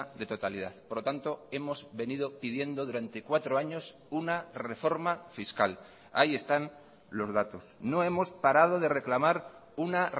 de totalidad por lo tanto hemos venido pidiendo durante cuatro años una reforma fiscal ahí están los datos no hemos parado de reclamar una